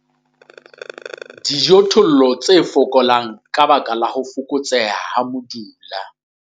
Dijothollo tse fokolang ka baka la ho fokotseha ha modula.